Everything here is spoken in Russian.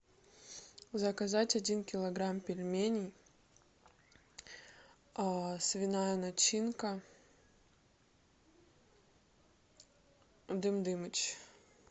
заказать один килограмм пельменей свиная начинка дым дымыч